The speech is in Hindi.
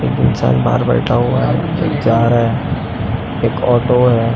एक इंसान बाहर बैठा हुआ है जा रहा है एक ऑटो है ।